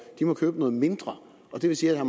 de må købe noget mindre det vil sige at